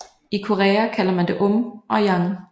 I Korea kalder man det Um og Yang